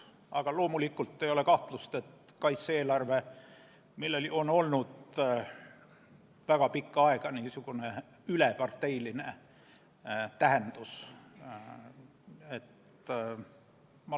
Aga loomulikult ei ole kahtlust, et kaitse-eelarvel on olnud väga pikka aega üleparteiline tähendus.